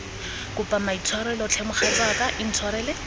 kopa maitshwarelo tlhe mogatsaka intshwarele